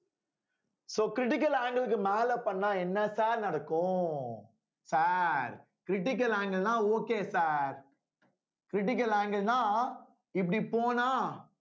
so critical angle க்கு மேல பண்ணா என்ன sir நடக்கும் sir critical angle ன்னா okay sir critical angle ன்னா இப்படி போனா